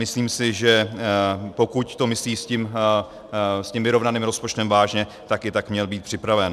Myslím si, že pokud to myslí s tím vyrovnaným rozpočtem vážně, tak i tak měl být připraven.